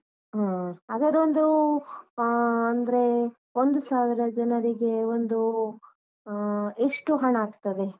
ಹಾ. ಹಾಗಾದ್ರೆ ಒಂದು ಆ ಅಂದ್ರೆ ಒಂದು ಸಾವಿರ ಜನರಿಗೆ ಒಂದು ಆ ಎಷ್ಟು ಹಣ ಆಗ್ತದೆ?